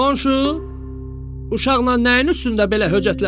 Qonşu, uşaqla nəyin üstündə belə höcətləşirsən?